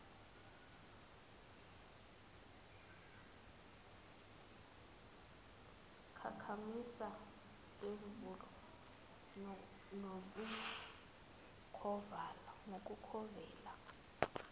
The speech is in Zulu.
konkamisa bemvelo nabokuvela